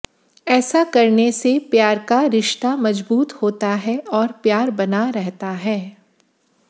ऐसा करने से प्यार का रिश्ता मजबूत होता है और प्यार बना रहता है